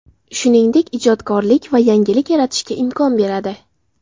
Shuningdek, ijodkorlik va yangilik yaratishga imkon beradi.